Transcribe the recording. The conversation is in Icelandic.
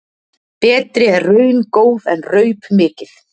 Betri er raun góð en raup mikið.